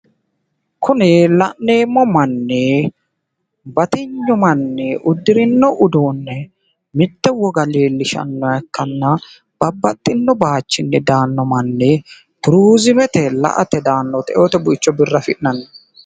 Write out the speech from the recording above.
kuni la'neemmo manni batifinyu manni uddirino uduunne mitte woga leellishshannoha ikkanna babbaxino baayichinni daanno manni turiizimete la'ote daanno woyte eote buicho biirra afi'nanni.